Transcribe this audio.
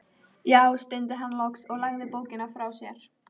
Já, stundi hann loks og lagði bókina frá sér.